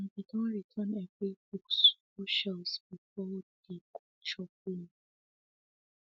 dem be don return every books go shelves before de go chop lunch